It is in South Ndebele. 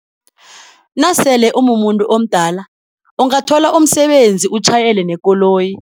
Nasele umumuntu omdala ungathola umsebenzi utjhayele nekoloyi.